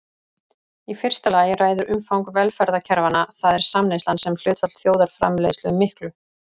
Í fyrsta lagi ræður umfang velferðarkerfanna, það er samneyslan sem hlutfall þjóðarframleiðslu miklu.